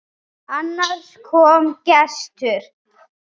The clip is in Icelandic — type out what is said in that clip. Annars kom gestur.